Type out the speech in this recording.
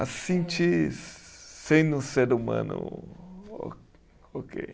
A sentir sendo um ser humano, ó oquei